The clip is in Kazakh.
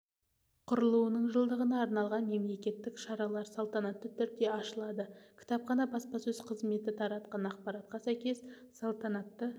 құрылуының жылдығына арналған мерекелік шаралар салтанатты түрде ашылады кітапхана баспасөз қызметі таратқан ақпаратқа сәйкес салтанатты